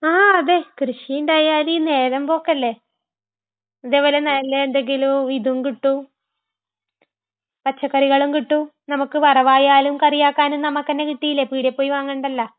ങാ..അതേ. കൃഷിയുണ്ടായാല് നേരമ്പോക്കല്ലേ..ഇതേപോലെ നല്ലഎന്തെങ്കിലും ഇതും കിട്ടും...പച്ചക്കറികളും കിട്ടും..നമുക്ക് വറവായാലും കറിയാക്കാനും നമുക്ക് തന്നെ കിട്ടീലെ..പീടികേ പോയി വാങ്ങണ്ടല്ല.